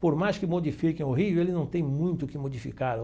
Por mais que modifiquem o Rio, ele não tem muito o que modificar.